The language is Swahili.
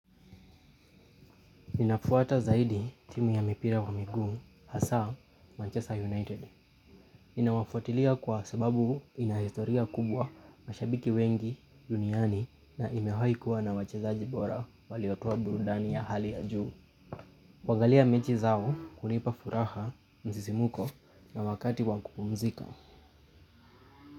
Ninafuata zaidi timu ya mipira wa miguu, hasa, manchester United. Ninawafuatilia kwa sababu ina historia kubwa mashabiki wengi, duniani na imewahikuwa na wachezaji bora waliotoa burudani ya hali ya juu. Kuangalia mechi zao hunipa furaha msisimuko na wakati wa kupumzika.